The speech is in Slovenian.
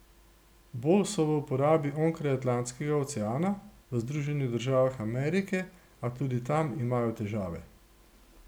Bolj so v uporabi onkraj Atlantskega oceana, v Združenih državah Amerike, a tudi tam imajo težave.